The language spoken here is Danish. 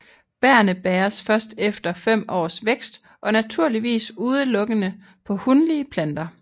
Bærrene bæres først efter 5 års vækst og naturligvis udelukkende på hunlige planter